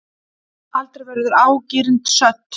Aldrei verður ágirnd södd.